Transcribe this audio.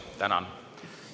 Tänan!